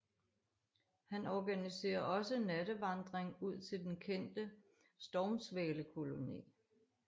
Han organiserer også nattevandring ud til den kendte stormsvalekoloni